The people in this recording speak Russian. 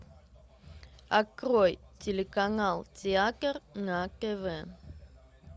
открой телеканал театр на тв